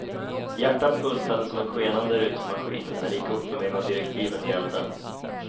Hjärtat bultade som en skenande rytmmaskin när det gick upp för mig vad direktiven gällde.